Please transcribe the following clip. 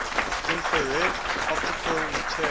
infrared optical material